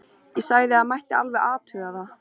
Ég sagði að það mætti alveg athuga það.